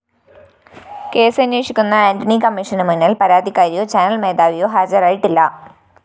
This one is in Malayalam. കേസന്വേഷിക്കുന്ന ആന്റണി കമ്മീഷന് മുന്നില്‍ പരാതിക്കാരിയോ ചാനൽ മേധാവിയോ ഹാജരായിട്ടില്ല